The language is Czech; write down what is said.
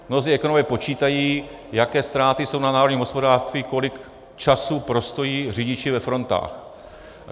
Mnozí ekonomové počítají, jaké ztráty jsou na národním hospodářství, kolik času prostojí řidiči ve frontách.